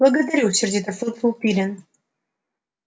благодарю сердито фыркнул пиренн